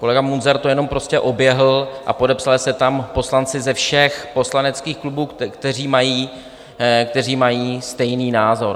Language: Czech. Kolega Munzar to jenom prostě oběhl a podepsali se tam poslanci ze všech poslaneckých klubů, kteří mají stejný názor.